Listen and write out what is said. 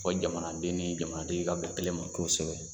jamanaden ni jamanatigi ka bɛn kelen ma kosɛbɛ.